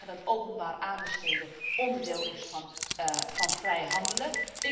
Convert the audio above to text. U kunt zeggen dat openbaar aanbesteden onderdeel is van vrij handelen.